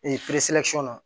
na